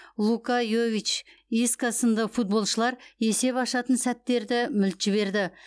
лука йович иско сынды футболшылар есеп ашатын сәттерді мүлт жіберді